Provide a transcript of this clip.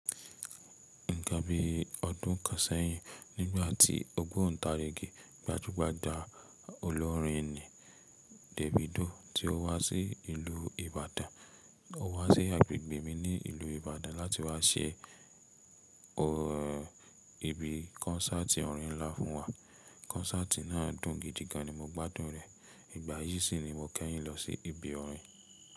Ní ìgbà bí ọdún kan sẹ́yìn, nígbà tí ogbontarigi gbajúgbajà olórin ni Davido tí ó wá sí ìlú Ìbàdàn. Ó wá sí agbègbè mi ní ìlú Ìbàdàn láti wá ṣe ibi kọ́nsáàti orin ńlá fún wa. Kọ́nsáàti náà dùn gidi gan ni mo gbádùn rẹ̀. Ìgbà yìí sì ni mo kẹ́yìn lọ sí ibi orin.